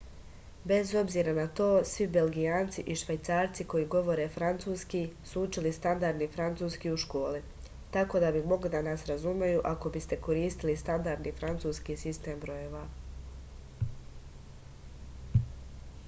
bez obzira na to svi belgijanci i švajcarci koji govore francuski su učili standardni francuski u školi tako da bi mogli da vas razumeju ako biste koristili standardni francuski sistem brojeva